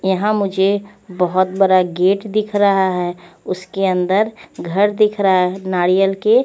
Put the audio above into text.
यहाँ मुझे बहोत बडा गेट दिख रहा है उसके अंदर घर दिख रहा है नारियल के --